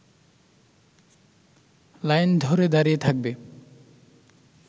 line ধরে দাঁড়িয়ে থাকবে